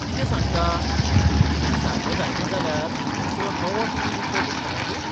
कितें सांगता? टीव्ही सारको जायना जाल्यार दुसरो नवो टीव्ही दितलो तूं खऱ्यांनीच?